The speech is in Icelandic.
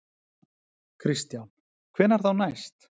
Kristján: Hvenær þá næst?